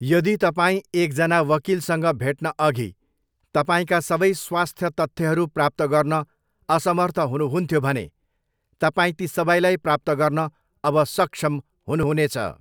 यदि तपाईँ एकजना वकिलसँग भेट्नअघि तपाईँका सबै स्वास्थ्य तथ्यहरू प्राप्त गर्न असमर्थ हुनुहुन्थ्यो भने, तपाईँ ती सबैलाई प्राप्त गर्न अब सक्षम हुनुहुनेछ।